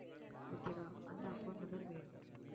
okay வா அந்த account number வேணும்